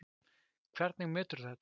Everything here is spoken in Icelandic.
Hvernig meturðu þetta?